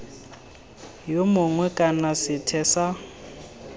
yo mongwe kana sethwe sa